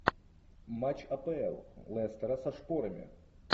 матч апл лестера со шпорами